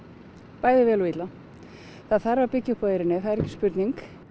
bæði vel og illa það þarf að byggja upp á eyrinni það er ekki spurning